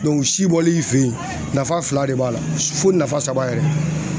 si bɔli i fe yen, nafa fila de b'a la fo nafa saba yɛrɛ.